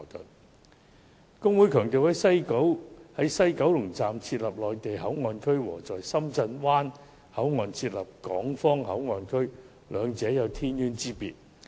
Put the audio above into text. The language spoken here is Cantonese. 大律師公會強調，在西九龍站設立內地口岸區，與在深圳灣口岸設立港方口岸區，兩者有天淵之別。